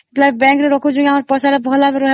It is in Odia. bank ରେ ରଖିଲେ ହେଲେ